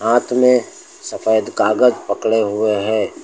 हाथ में सफेद कागज पकड़े हुए हैं।